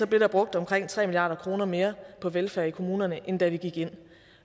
blev der brugt omkring tre milliard kroner mere på velfærd i kommunerne end da vi gik ind